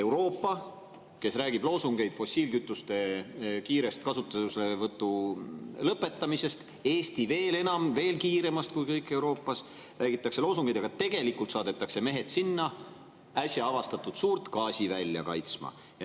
Euroopa räägib loosungites küll kiirest fossiilkütuste kasutamise lõpetamisest, Eestis tehakse seda veel enam, veel kiiremalt kui Euroopas loosungites ette, aga tegelikult saadetakse mehed sinna äsja avastatud suurt gaasivälja kaitsma.